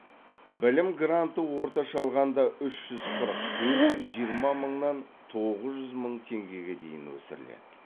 білім гранты орташа алғанда үш жүз қырық төрт жүз жиырма мыңнан тоқыз жүз мың теңгеге дейін өсіріледі